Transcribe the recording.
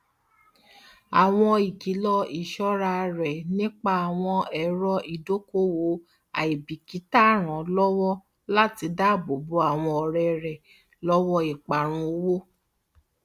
àwọn ìkìlò iṣọra rẹ nípa àwọn èrò ìdókòowó àìbíkítà ràn lọwọ láti dáàbò bo àwọn ọrẹ rẹ lọwọ ìparun owó